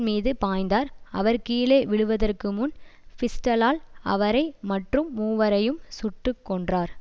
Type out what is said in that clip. மீது பாய்ந்தார் அவர் கீழே விழுவதறகு முன் பிஸ்டலால் அவரை மற்றும் மூவரையும் சுட்டு கொன்றார்